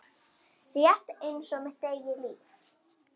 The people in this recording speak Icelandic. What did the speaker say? Rétt einsog mitt eigið líf.